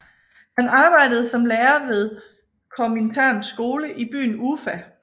Han arbejdede som lærer ved Kominterns skole i byen Ufa